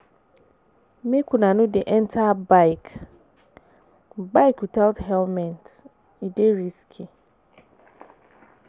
Make una no dey enta bike bike witout helmet, e dey risky.